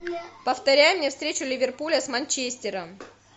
повторяй мне встречу ливерпуля с манчестером